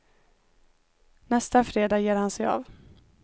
Nästa fredag ger han sig av.